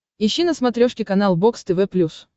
ищи на смотрешке канал бокс тв плюс